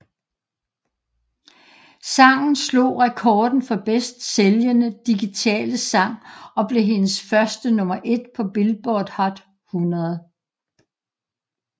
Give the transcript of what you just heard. Sangen slog rekorden for bedst sælgende digitale sang og blev hendes første nummer ét på Billboard Hot 100